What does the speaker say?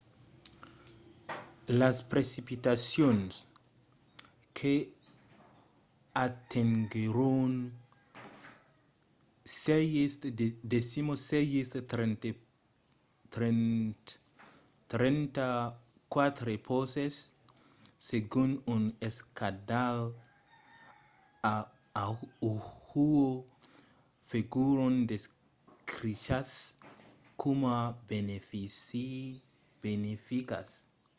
las precipitacions que atenguèron 6,34 poces segon un escandalh a oahu foguèron descrichas coma beneficas